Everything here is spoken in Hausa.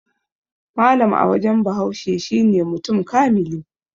Mallam a wajen Bahaushe shine mutum kamili